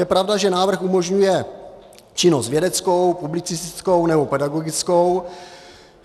Je pravda, že návrh umožňuje činnost vědeckou, publicistickou nebo pedagogickou.